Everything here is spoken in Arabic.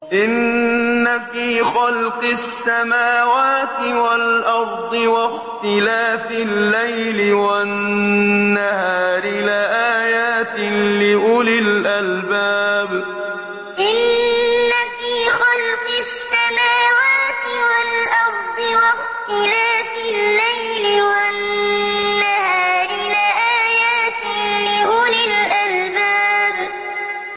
إِنَّ فِي خَلْقِ السَّمَاوَاتِ وَالْأَرْضِ وَاخْتِلَافِ اللَّيْلِ وَالنَّهَارِ لَآيَاتٍ لِّأُولِي الْأَلْبَابِ إِنَّ فِي خَلْقِ السَّمَاوَاتِ وَالْأَرْضِ وَاخْتِلَافِ اللَّيْلِ وَالنَّهَارِ لَآيَاتٍ لِّأُولِي الْأَلْبَابِ